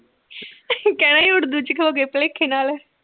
ਕਹਿਣਾ ਉੜਦੂ ਚ ਹੋਗੇ ਭਲੇਖੇ ਨਾਲ